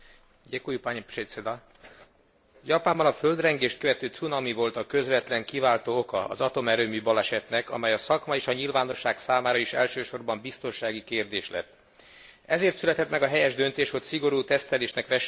Japánban a földrengést követő cunami volt a közvetlen kiváltó oka az atomerőmű balesetnek, amely a szakma és a nyilvánosság számára is elsősorban biztonsági kérdés lett. Ezért született meg a helyes döntés, hogy szigorú tesztelésnek vessük alá működő nukleáris erőműveinket.